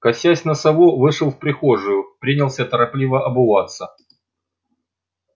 косясь на сову вышел в прихожую принялся торопливо обуваться